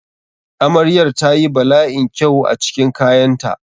Amrayar ta yi bala'in kyau a cikin kayanta.